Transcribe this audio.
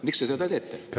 Miks te seda teete?